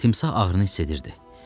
Timsah ağrını hiss edirdi.